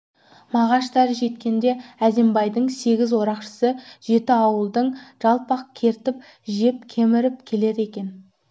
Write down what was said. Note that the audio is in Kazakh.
мағаштар жеткенде әзімбайдың сегіз орақшысы жеті ауылдың жалпақ кертіп жеп кеміріп келеді екен